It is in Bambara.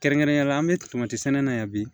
Kɛrɛnkɛrɛnnenya la an bɛ tomati sɛnɛ na yan bi